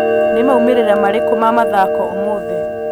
nī maūmirira marīku ma mathako ūmūthī